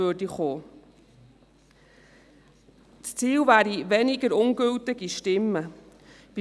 Das Ziel wäre es, weniger ungültige Stimmen zu haben.